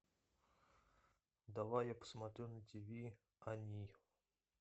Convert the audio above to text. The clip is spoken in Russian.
давай я посмотрю на тв они